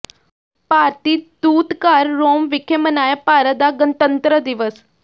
ਭਾਰਤੀ ਦੂਤਘਰ ਰੋਮ ਵਿਖੇ ਮਨਾਇਆ ਭਾਰਤ ਦਾ ਗਣਤੰਤਰ ਦਿਵਸ